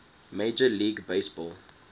major league baseball